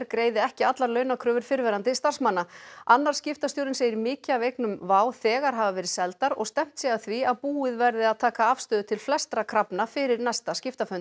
greiði ekki allar launakröfur fyrrverandi starfsmanna annar skiptastjórinn segir mikið af eignum WOW þegar hafa verið seldar og stefnt sé að því að búið verði að taka afstöðu til flestra krafna fyrir næsta